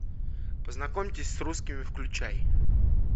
познакомьтесь с русскими включай